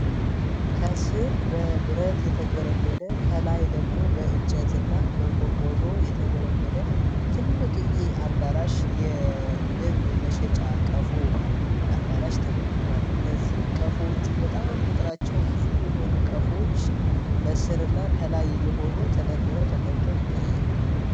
ከስር በብረት የተገለገለ ከላይ ደግሞ በእንጨትና በቆርቆሮ የተገለገለ ትልቅዬ አዳራሽ የንብ መሸጫ ቀፎ አዳራሽ ተመልክቷል። እነዚህ ይቀፎቹ በጣም ቁጥራቸው ብዙ የሆኑ ቀፎዎች በስር እና ከላይ የሆኑ ተደርድረው ተቀምጦ ይታያል።